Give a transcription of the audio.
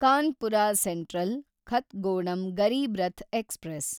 Kanpur central Kathgodam Garib Rath express